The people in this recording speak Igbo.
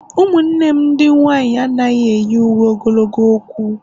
umunne m ndi nwanyi anaghi eyi uwe ogologo ọkwu